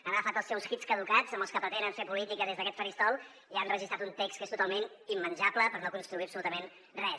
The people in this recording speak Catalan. han agafat els seus hits caducats amb els que pretenen fer política des d’aquest faristol i han registrat un text que és totalment immenjable per no construir absolutament res